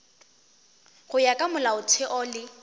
go ya ka molaotheo le